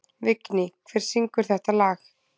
Vigný, hver syngur þetta lag?